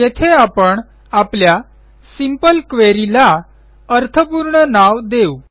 येथे आपण आपल्या सिंपल क्वेरी ला अर्थपूर्ण नाव देऊ